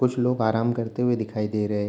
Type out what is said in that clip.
कुछ लोग आराम करते हुए दिखाई दे रहे।